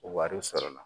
Wariw sɔrɔla